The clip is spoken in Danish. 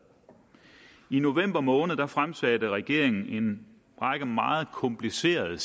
i november måned fremsatte regeringen en række meget komplicerede